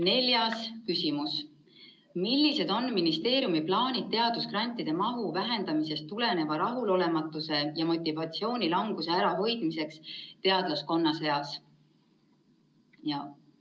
Neljas küsimus: "Millised on ministeeriumi plaanid teadusgrantide mahu vähenemisest tuleneva rahulolematuse ja motivatsioonilanguse ärahoidmiseks teadlaskonna seas?